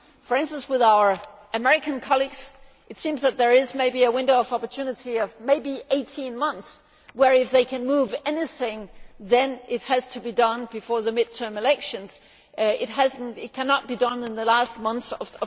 For instance, with our American colleagues it seems that there is maybe a window of opportunity of maybe 18 months where, if they can move anything, then it has to be done before the mid term elections. It cannot be done in the last months of